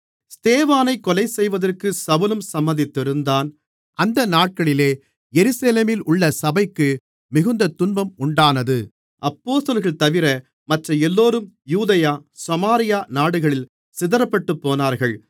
ஸ்தேவானைக் கொலைசெய்வதற்கு சவுலும் சம்மதித்திருந்தான் அந்த நாட்களிலே எருசலேமிலுள்ள சபைக்கு மிகுந்த துன்பம் உண்டானது அப்போஸ்தலர்கள்தவிர மற்ற எல்லோரும் யூதேயா சமாரியா நாடுகளில் சிதறப்பட்டுப்போனார்கள்